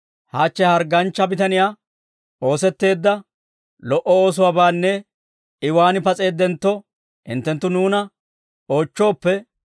hachche ha hargganchcha bitaniyaw oosetteedda lo"o oosuwaabaanne I waan pas'eeddentto, hinttenttu nuuna oochchooppe,